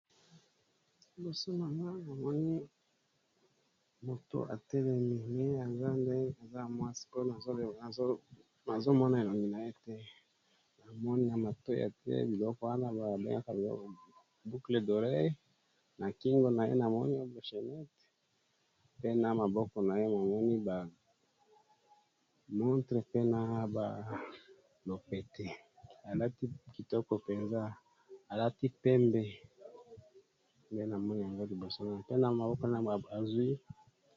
Liboso nangai namoni mutu atelemi mais namoni aza mwasi po nazomona elongi naye te na monoko ya lopoto oyo ba bengaka boucles d'oreilles na kingo naye namoni chenette pe na maboko naye namoni montré na lopete.